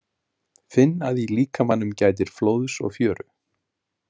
Finn að í líkamanum gætir flóðs og fjöru.